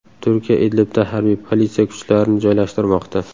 Turkiya Idlibda harbiy politsiya kuchlarini joylashtirmoqda.